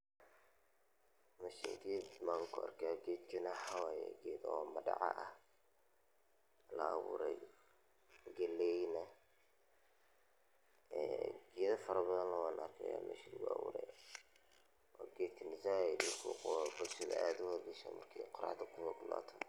Meeshan ged ayan kuarko gedkana waxa waye madaca ah oo laabure oo ged galeyna gedo fara badan aya kuarka meeshan oo gedkan said ucawiya dadka markey qoraxda kululato.